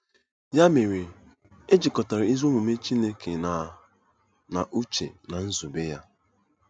Ya mere, e jikọtara ezi omume Chineke na na uche na nzube ya.